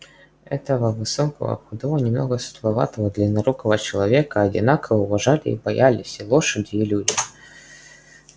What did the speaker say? этого высокого худого немного сутуловатого длиннорукого человека одинаково уважали и боялись и лошади и люди